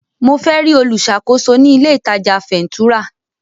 Mo fẹ́ rí olùṣàkóso ní ilé ìtajà fẹ̀ńtúrà.